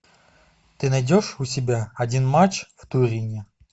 ты найдешь у себя один матч в турине